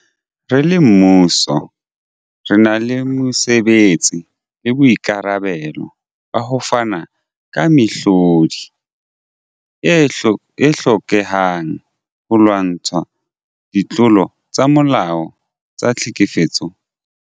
Re le mmuso, re na le mosebetsi le boikarabelo ba ho fana ka mehlodi e hlokehang holwantshwa ditlolo tsa molao tsa tlhekefetso ya bong.